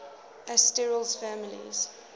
asterales families